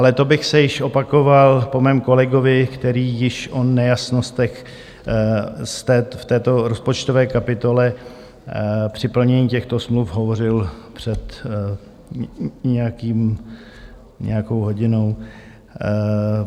Ale to bych se již opakoval po svém kolegovi, který již o nejasnostech v této rozpočtové kapitole při plnění těchto smluv hovořil před nějakou hodinou.